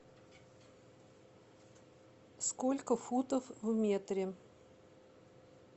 сколько футов в метре